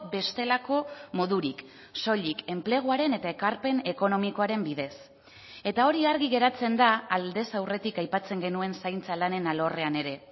bestelako modurik soilik enpleguaren eta ekarpen ekonomikoaren bidez eta hori argi geratzen da aldez aurretik aipatzen genuen zaintza lanen alorrean ere